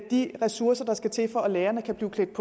de ressourcer der skal til for at lærerne kan blive klædt